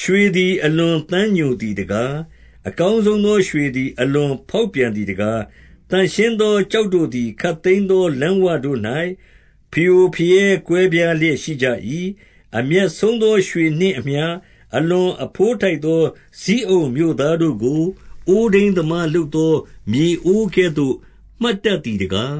ရွှေသည် အလွန်သမ်းညိုသည်တကား။ အကောင်းဆုံးသော ရွှေသည် အလွန်ဖေါက်ပြန်သည် တကား။ သန့်ရှင်းသော ကျောက်တို့သည် ခပ်သိမ်းသော လမ်းဝတို့၌ ဖရိုဖရဲကွဲပြားလျက်ရှိကြ၏။ 2 အမြတ်ဆုံးသော ရွှေနှင့်အမျှ အလွန်အဘိုး ထိုက်သော ဇိအုန်မြို့သားတို့ကို၊ အိုးထိန်းသမား လုပ်သောမြေအိုးကဲ့သို့ မှတ်တတ်သည်တကား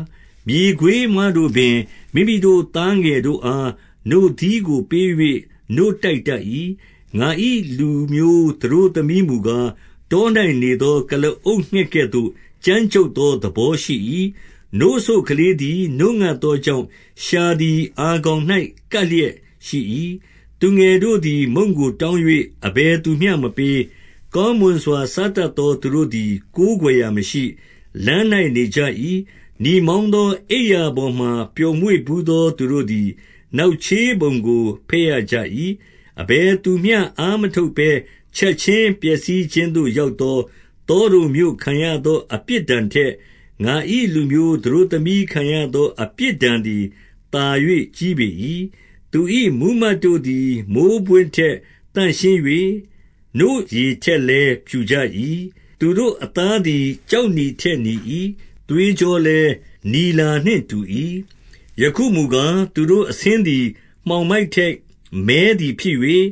3 မြေခွေးမတို့ပင် မိမိတို့သားငယ်တို့အား နို့သီးကို ပေး၍နို့တိုက်တတ်၏။ ငါ၏လူမျိုးသတို့သမီးမူကား၊ တော၌နေသော ကုလားအုပ်ငှက်ကဲ့သို့ ကြမ်းကြုတ်သော သဘောရှိ၏။ 4 နို့စို့ကလေးသည် နို့ငတ်သောကြောင့်၊ လျှာသည် အာခေါင်၌ ကပ်လျက်ရှိ၏။ သူငယ်တို့သည် မုန့်ကို တောင်း၍ အဘယ်သူမျှမပေး။ 5 ကောင်းမွန်စွာ စားတတ်သော သူတို့သည် ကိုးကွယ်ရာမရှိ၊ လမ်း၌ နေကြ၏။ နီမောင်းသော အိပ်ရာ ပေါ်မှာ ပျော်မွေ့ဘူးသော သူတို့သည် နောက်ချေးပုံကို ဘက်ရကြ၏။ 6 အဘယ်သူမျှ အားမထုတ်ဘဲချက်ခြင်း ပျက်စီး ခြင်းသို့ရောက်သော၊ သောဒုံမြို့ခံရသောအပြစ်ဒဏ် ထက်၊ ငါ၏လူမျိုးသတို့သမီးခံရသော အပြစ်ဒဏ်သည် သာ၍ကြီးပေ၏။ 7 သူ၏မှူးမတ်တို့သည် မိုဃ်းပွင့်ထက်သန့်ရှင်း၍၊ နို့ရည်ထက်လည်း ဖြူကြ၏။ သူတို့အသားသည် ကျောက်နီထက်နီ၏။ သွေးကြောလည်း နီလာနှင့်တူ၏။ 8 ယခုမူကား၊ သူတို့အဆင်းသည်မှောင်မိုက်ထက် မည်းသည်ဖြစ်၍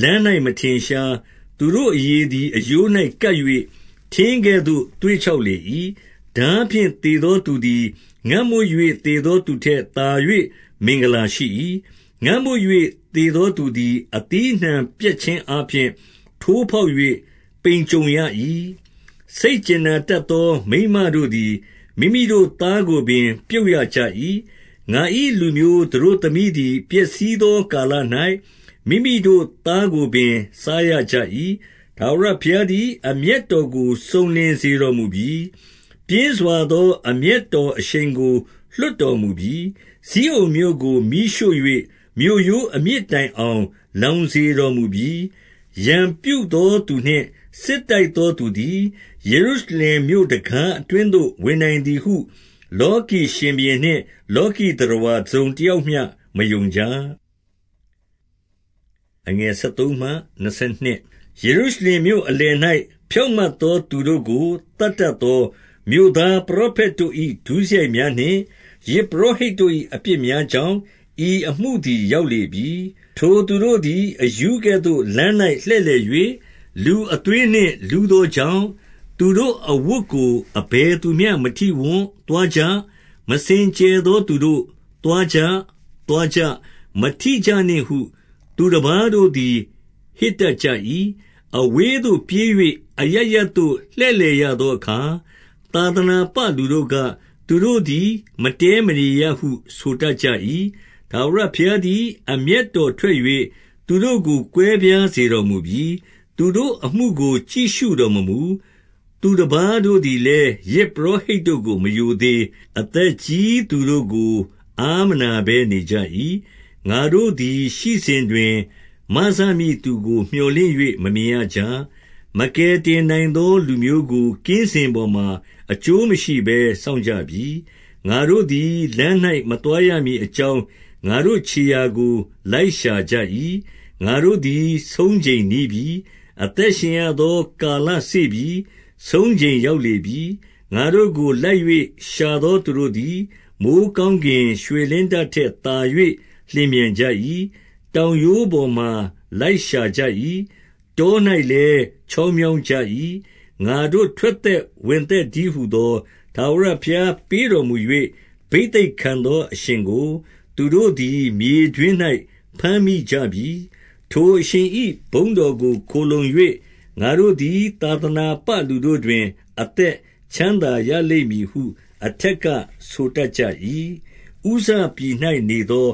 လမ်း၌မထင်ရှား။ သူတို့အရေသည် အရိုး၌ကပ်၍ ထင်းကဲ့သို့သွေ့ ခြောက်လေ၏။ 9 ထားဖြင့်သေသောသူသည်၊ ငတ်မွတ်၍ သေ သောသူထက် သာ၍ မင်္ဂလာရှိ၏။ ငတ်မွတ်၍ သေသောသူသည် အသီးအနှံပြတ်ခြင်းအားဖြင့် ထိုးဖေါက်၍ ပိန်ကြုံရ၏။ 10 စိတ်ကြင်နာတတ်သော မိန်းမတို့သည် မိမိတို့ သားကိုငယ်ပြုတ်ရကြ၏။ ငါ၏လူမျိုးသတို့သမီးသည် ပျက်စီးသော ကာလ၌ မိမိတို့သားကိုပင် စားရကြ၏။ 11 ထာဝရဘုရားသည် အမျက်တော်ကို စုံလင် စေတော်မူပြီ။ ပြင်းစွာသော အမျက်တော်အရှိန်ကို လွှတ် တော်မူပြီ။ ဇိအုန်မြို့ကို မီးရှို့၍ မြို့ရိုးအမြစ်တိုင်အောင် လောင်စေတော်မူပြီ။ 12 ရန်ပြုသောသူနှင့်စစ်တိုက်သောသူသည် ယေရု ရှလင်မြို့တံခါးအတွင်းသို့ ဝင်နိုင်သည်ဟု၊ လောကီ ရှင်ဘုရင်နှင့်လောကီသတ္တဝါ တစုံတယောက်မျှမယုံကြ။ 13 ယေရုရှလင်မြို့အလယ်၌ ဖြောင့်မတ်သော သူတို့ကို သတ်တတ်သောမြို့သားပရောဖက်တို့၏ ဒုစရိုက်များနှင့်၊ ယဇ်ပုရောဟိတ်တို့၏အပြစ်များကြောင့် ဤအမှုသည် ရောက်လေပြီ။ 14 ထိုသူတို့သည်အရူးကဲ့သို့လမ်း၌လှည့်လည်၍၊ လူအသွေးနှင့် လူးသောကြောင့်၊ သူတို့အဝတ်ကို အဘယ် သူမျှ မထိဝံ့။ 15 သွားကြ။ မစင်ကြယ်သောသူတို့၊ သွားကြာ၊ သွားကြ။ မထိကြနှင့်ဟု သူတပါးတို့သည်ဟစ်တတ်ကြ၏။ အဝေးသို့ပြေး၍ အရပ်ရပ်သို့လှည့်လည်ရသောအခါ သာသနာပလူတို့က၊ သူတို့သည် မတည်းမနေရဟု ဆိုတတ်ကြ၏။ 16 ထာဝရဘုရားသည် အမျက်တော်ထွက်၍ သူတို့ ကို ကွဲပြားစေတော်မူပြီ။ သူတို့အမှုကို ကြည့်ရှုတော်မမူ။ သူတပါးတို့သည်လည်း၊ ယဇ်ပုရောဟိတ်တို့ကို မရိုသေ၊ အသက်ကြီးသူတို့ကို အားမနာဘဲနေကြ၏။ 17 ငါတို့သည်ရှိစဉ်တွင် မစမည့်သူကို မြော်လင့်၍ မမြင်ရကြ။ မကယ်တင်နိုင်သောလူမျိုးကို ကင်းစင်ပေါ် မှာ အကျိုးမရှိဘဲ စောင့်ကြပြီ။ 18 ငါတို့သည် လမ်း၌မသွားရမည်အကြောင်း ငါတို့ခြေရာကို လိုက်ရှာကြ၏။ ငါတို့သည်ဆုံးချိန်နီးပြီ။ အသက်ရှင်ရသော ကာလစေ့ပြီ။ ဆုံးချိန်ရောက်လေပြီ။ 19 ငါတို့ကိုလိုက်၍ ရှာသောသူတို့သည် မိုဃ်း ကောင်းကင် ရွှေလင်းတထက်သာ၍ လျင်မြန်ကြ၏။ တောင်ရိုးပေါ်မှာလိုက်ရှာကြ၏။ တော၌လည်း ချောင်း မြောင်းကြ၏။ 20 ငါတို့ထွက်သက်ဝင်သက်တည်းဟူသော၊ ထာဝရ ဘုရားသည် ပေးတော်မူ၍ ဘိသိတ်ခံသောအရှင်ကို သူတို့သည် မြေတွင်း၌ ဘမ်းမိကြပြီ။ ထိုအရှင်၏ ဘုန်းတော်ကိုခိုလှုံ၍၊ ငါတို့သည်သာသနာပ လူတို့တွင် အသက်ချမ်းသာရလိမ့်မည်ဟု အထက်ကဆိုတတ်ကြ၏။ 21 ဥဇပြည်၌ နေသော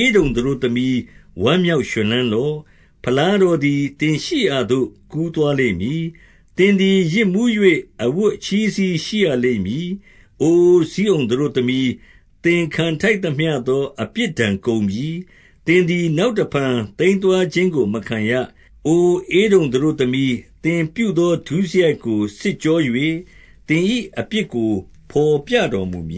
ဧဒုံသတို့သမီး၊ ဝမ်းမြောက် ရွှင်လန်းလော့။ ဖလားတော်သည် သင်ရှိရာသို့ ကူးသွား လိမ့်မည်။ သင်သည်ယစ်မူး၍ အဝတ်အချည်းစည်း ရှိရလိမ့်မည်။ 22 အိုဇိအုန်သတို့သမီး၊ သင်ခံထိုက်သမျှသော အပြစ်ဒဏ်ကုန်ပြီ။ သင်သည် နောက်တဖန် သိမ်းသွား ခြင်းကိုမခံရ။ အိုဧဒုံသတို့သမီး၊ သင်ပြုသော ဒုစရိုက်ကို စစ်ကြော၍သင်၏အပြစ်ကို ဘော်ပြတော်မူမ